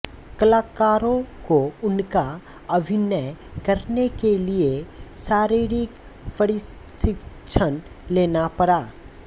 कलाकारों को उनका अभिनय करने के लिए शारीरिक प्रशिक्षण लेना पड़ा